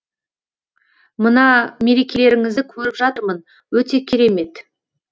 мына мерекелеріңізді көріп жатырмын өте керемет